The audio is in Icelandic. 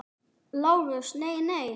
LÁRUS: Nei, nei!